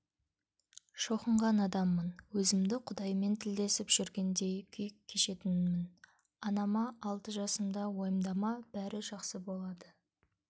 шоқынған адаммын өзімді құдаймен тілдесіп жүргендей күй кешетінмін анама алты жасымда уайымдама бәрі жақсы болады